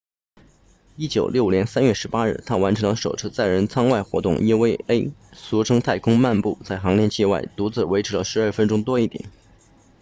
1965年3月18日他完成了首次载人舱外活动 eva 俗称太空漫步在航天器外独自维持了12分钟多一点